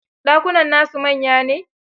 Dakunan na su manya ne?